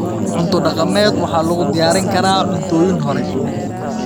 Cunto dhaqameed waxaa lagu diyaarin karaa cuntooyin hore.